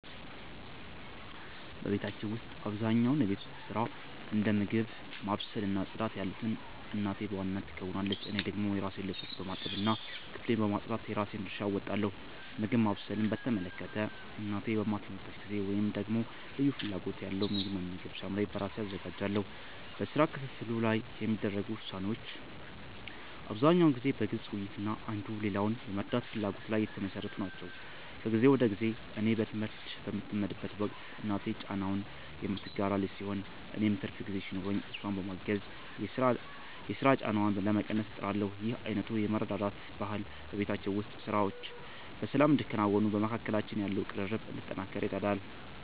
በቤታችን ውስጥ አብዛኛውን የቤት ውስጥ ሥራ፣ እንደ ምግብ ማብሰል እና ጽዳት ያሉትን እናቴ በዋናነት ትከውናለች። እኔ ደግሞ የራሴን ልብሶች በማጠብ እና ክፍሌን በማጽዳት የራሴን ድርሻ እወጣለሁ። ምግብ ማብሰልን በተመለከተ፣ እናቴ በማትኖርበት ጊዜ ወይም ደግሞ ልዩ ፍላጎት ያለው ምግብ መመገብ ሲያምረኝ በራሴ አዘጋጃለሁ። በሥራ ክፍፍሉ ላይ የሚደረጉ ውሳኔዎች አብዛኛውን ጊዜ በግልጽ ውይይት እና አንዱ ሌላውን የመርዳት ፍላጎት ላይ የተመሠረቱ ናቸው። ከጊዜ ወደ ጊዜ እኔ በትምህርት በምጠመድበት ወቅት እናቴ ጫናውን የምትጋራልኝ ሲሆን፣ እኔም ትርፍ ጊዜ ሲኖረኝ እሷን በማገዝ የሥራ ጫናዋን ለመቀነስ እጥራለሁ። ይህ አይነቱ የመረዳዳት ባህል በቤታችን ውስጥ ሥራዎች በሰላም እንዲከናወኑና በመካከላችን ያለው ቅርርብ እንዲጠናከር ይረዳል።